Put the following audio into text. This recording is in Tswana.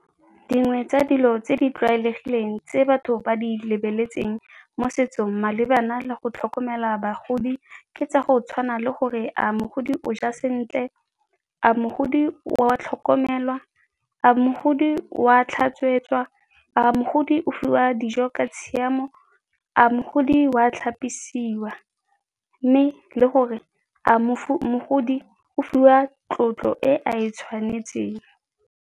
Dingwe tsa dilo tse di tlwaelegileng tse batho ba di lebeletseng mo setsong malebana le go tlhokomela bagodi ke tsa go tshwana le gore a mogodi o ja sentle? A mogodi oa tlhokomelwa? A mogodi wa tlhatswetswa? A mogodi o fiwa dijo ka tshiamo? A mogodi wa tlhapisiwa? Mme le gore a mogodi o fiwa tlotlo e ae tshwanetseng.